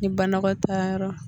Ni banakɔtaayɔrɔ la